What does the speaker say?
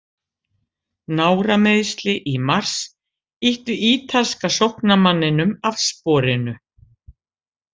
Nárameiðsli í mars ýttu ítalska sóknarmanninum af sporinu.